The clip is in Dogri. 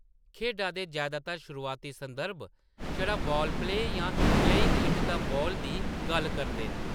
खेढा दे जैदातर शुरुआती संदर्भ छड़ा बाल प्ले जां प्लेइंग एट द बॉल दी गल्ल करदे न।